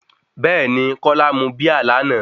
Bẹ́ẹ̀ni, kola mú Bíà lánàá.